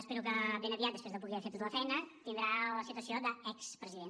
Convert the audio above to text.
espero que ben aviat després que pugui haver fet tota la feina tindrà la situació d’expresident